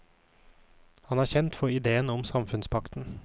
Han er kjent for ideen om samfunnspakten.